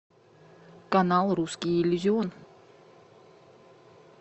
канал русский иллюзион